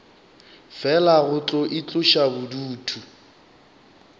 fela go tlo itloša bodutu